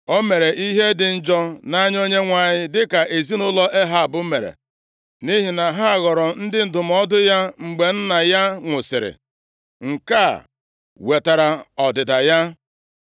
O mere ihe dị njọ nʼanya Onyenwe anyị dịka ezinaụlọ Ehab mere nʼihi na ha ghọrọ ndị ndụmọdụ ya mgbe nna ya nwụsịrị, nke a wetara ọdịda ya.